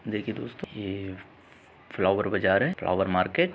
देखिये दोस्तों ये फ्लावर बाजार है फ्लावर मार्किट ।